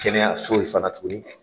Kɛnɛyayaso in fana tuguni.